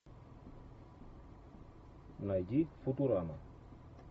найди футурама